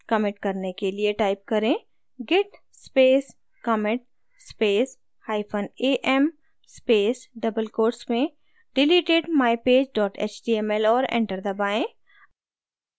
commit करने के लिए type करें: git space commit space hyphen am space double quotes में deleted mypage html और enter दबाएँ